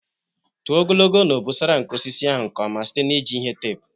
tụọ ogologo na obosara nke osisi ahụ nke ọma site na iji ihe teepu.